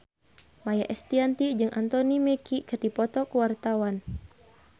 Maia Estianty jeung Anthony Mackie keur dipoto ku wartawan